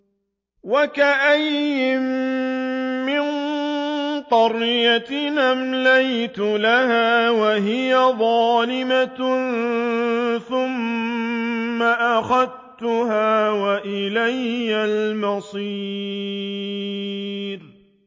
وَكَأَيِّن مِّن قَرْيَةٍ أَمْلَيْتُ لَهَا وَهِيَ ظَالِمَةٌ ثُمَّ أَخَذْتُهَا وَإِلَيَّ الْمَصِيرُ